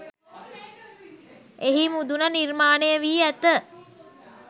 එහි මුදුන නිර්මාණය වී ඇත.